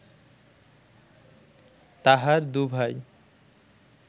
তাহার দুভাই